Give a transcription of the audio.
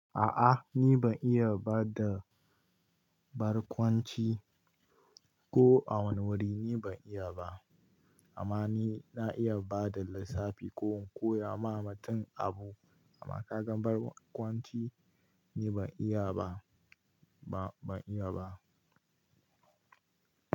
A'a ni ban iya bada barkwanci ko a wani wuri ni ban iya ba. Amma ni na iya bada lissafi ko koya ma mutum abu amma ka gan barkwanci ni ban iya ba, ba, ban iya ba.